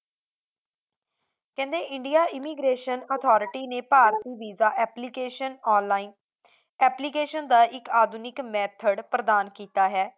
ਕਹਿੰਦੇ India immigration authority ਨੇ ਭਾਰਤੀ ਵੀਸਾ ਐਪਲੀਕੇਸ਼ਨ ਆਨਲਾਈਨ application ਦਾ ਇੱਕ ਆਧੁਨਿਕ method ਪ੍ਰਦਾਨ ਕੀਤਾ ਹੈ